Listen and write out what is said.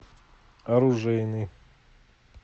оружейный